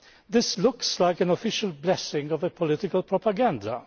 This looks like an official blessing for political propaganda.